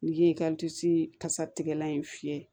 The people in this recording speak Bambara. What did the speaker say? N'i ye kasatigɛlan in fiyɛ